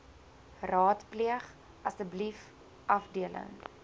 raadpleeg asseblief afdeling